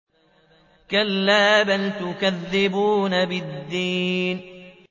كَلَّا بَلْ تُكَذِّبُونَ بِالدِّينِ